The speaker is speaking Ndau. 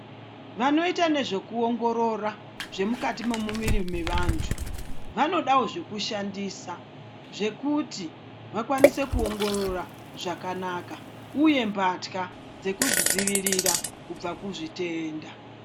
Vanoita nezvekuongorora zvemukati memuviri wevantu vanodawo zvekushandisa zvekuti vakwanise kupngororo zvakanaka uye mbatya dzekuzvidzivirira kubva kuzvitenda.